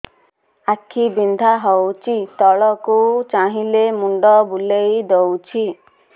ଆଖି ବିନ୍ଧା ହଉଚି ତଳକୁ ଚାହିଁଲେ ମୁଣ୍ଡ ବୁଲେଇ ଦଉଛି